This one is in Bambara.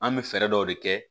An bɛ fɛɛrɛ dɔ de kɛ